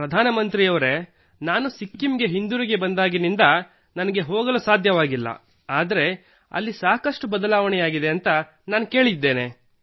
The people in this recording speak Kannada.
ಪ್ರಧಾನ ಮಂತ್ರಿಯವರೇ ನಾನು ಸಿಕ್ಕಿಂಗೆ ಹಿಂದಿರುಗಿ ಬಂದಾಗಿನಿಂದ ನನಗೆ ಹೋಗಲು ಸಾಧ್ಯವಾಗಿಲ್ಲ ಆದರೆ ಅಲ್ಲಿ ಬಹಳಷ್ಟು ಬದಲಾವಣೆಗಳಾಗಿವೆ ಎಂದು ನಾನು ಕೇಳಿದ್ದೇನೆ